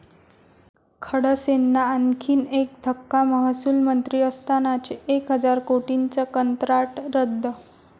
खडसेंना आणखीन एक धक्का, महसुल मंत्री असतानाचे एक हजार कोटींचं कंत्राट रद्द